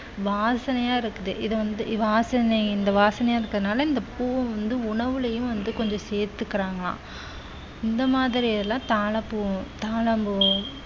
வாசனையா இருக்குது இது வந்து இது வாசனை இந்த வாசனையா இருக்கறதுனால இந்த பூ வந்து உணவுளையும் வந்து கொஞ்சம் சேர்த்துக்கிறாங்களாம இந்த மாதிரியெல்லாம் தாழப்பூ தாழம்பூ